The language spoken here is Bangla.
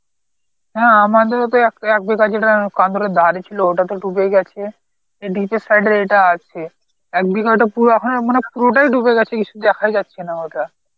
হ্যাঁ আমাদেরও তো এক এক বিঘা ছিল, ওটা তো ডুবে গেছে এদিকটোর side এর এটা আছে, এক বিঘা টো পুরো অখনে মানে পুরোটাই ডুবে গেছে, কিছু দেখাই যাচ্ছে না ওটা.